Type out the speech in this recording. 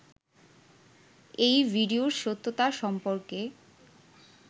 এই ভিডিওর সত্যতা সম্পর্কে